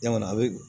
Yan kɔni a bɛ